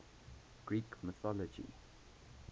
greek mythology